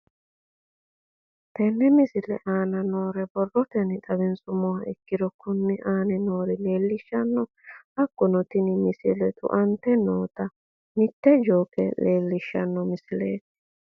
Tenne misile aana noore borrotenni xawisummoha ikirro kunni aane noore leelishano. Hakunno tinni misile tu'ante noota mite jooke leelishshano misileeti.